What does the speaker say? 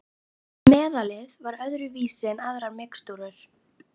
Meðalið var öðru vísi en aðrar mixtúrur.